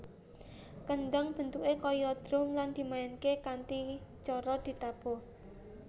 Kendhang bentuké kaya drum lan dimainaké kanthi cara ditabuh